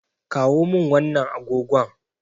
Kawo min wannan agogon.